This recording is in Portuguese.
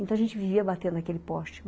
Então, a gente vivia batendo naquele poste.